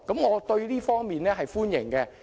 我對這方面表示歡迎。